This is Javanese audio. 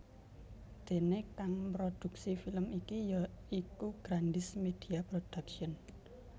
Déné kang mrodhuksi film iki ya iku Grandiz Media Production